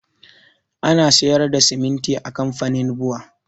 Ana sayar da siminti a kamfanin bua